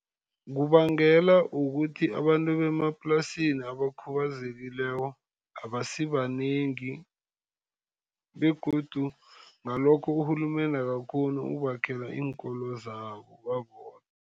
Kubangelwa kukuthi abantu bemaplasini abakhubazekileko abasibanengi, begodu ngalokho urhulumende akakghoni ukubakhela iinkolo zabo babodwa.